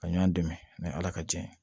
Ka ɲɔn dɛmɛ ala ka jɛ ye